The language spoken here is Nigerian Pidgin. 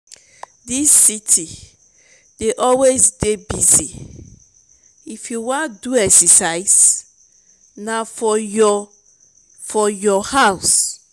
dis city dey always dey busy if you wan do exercise na for your for your house.